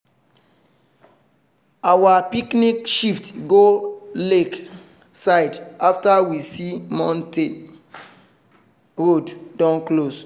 our picnic shift go lake side after we see say mountain road don close.